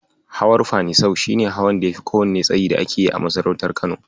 Hawan Fanisau shi ne hawan da yafi kowanne tsayi da ake yi a masarautar Kano.